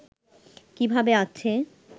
কীভাবে আছে